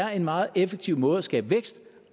er en meget effektiv måde at skabe vækst